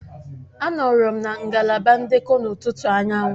Anọọrọ m na ngalaba ndekọ n'ụtụtụ ụnyaahụ